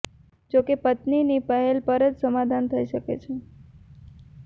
જો કે પત્નીની પહેલ પર જ સમાધાન થઇ શકે છે